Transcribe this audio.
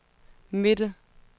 midte